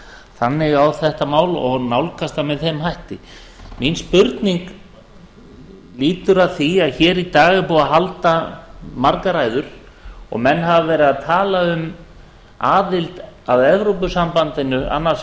þannig á þetta mál og nálgast það með þeim hætti mín spurning lýtur að því að hér í dag er búið að halda margar ræður og menn hafa verið að tala um aðild að evrópusambandinu annars